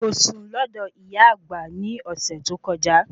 Kò sùn lọ́dọ̀ ìyá àgbà ní ọ̀sẹ̀ tó kọjá